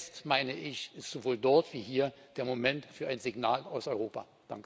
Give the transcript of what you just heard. Jetzt meine ich ist sowohl dort wie hier der Moment für ein Signal aus Europa.